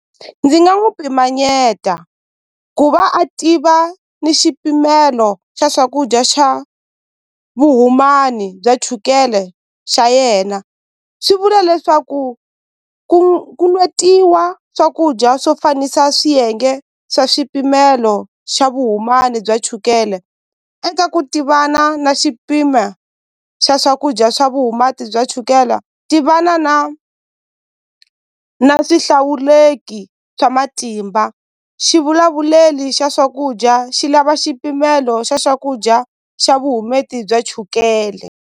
Ndzi nga n'wi pimanyeta ku va a tiva ni xipimelo xa swakudya xa vuhumani bya chukele xa yena swi vula leswaku ku ku swakudya swo fanisa swiyenge swa swipimelo xa vuhumani bya chukele eka ku tivana na xipime xa swakudya swa vuhumati bya chukela tivana na na swihlawuleki swa matimba xivulavuleli xa swakudya xi lava xipimelo xa swakudya xa vuhumeti bya chukele.